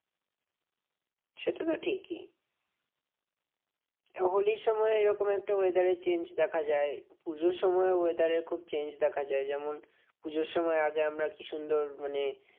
সেটা তো ঠিকই। হোলির সময় এরকম একটা weather এর change দেখা যায়। পুজোর সময়ও weather এর খুব change দেখা যায়। যেমন পুজোর সময় আগে আমরা কি সুন্দর মানে